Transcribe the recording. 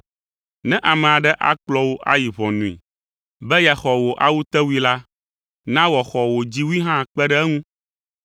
Ne ame aɖe akplɔ wò ayi ʋɔnui, be yeaxɔ wò awutewui la, na wòaxɔ wò dziwui hã kpe ɖe eŋu.